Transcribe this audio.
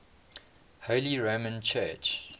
holy roman church